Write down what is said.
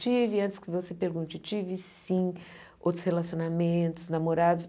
Tive, antes que você pergunte, tive sim outros relacionamentos, namorados.